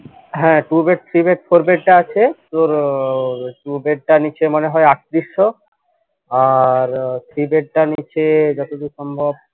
হ্যা two bed three bed four bed টা আছে তোর two bed টা নিচ্ছে মনে হয় আটত্রিশশো আর three bed টা নিচ্ছে যতদূর সম্ভব